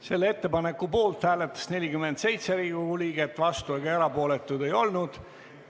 Selle ettepaneku poolt hääletas 47 Riigikogu liiget, vastuolijaid ega erapooletuid ei olnud.